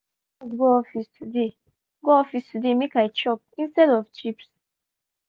i carry groundnut go office today go office today make i chop instead of chips.